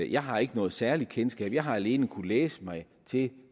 jeg har ikke noget særligt kendskab jeg har alene kunnet læse mig til